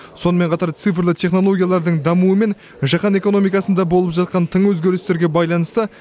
сонымен қатар цифрлы технологиялардың дамуы мен жаһан экономикасында болып жатқан тың өзгерістерге байланысты